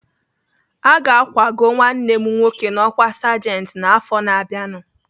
Aga akwago nwanne m nwoke n'ọkwa sajenti n'afọ na-abịanụ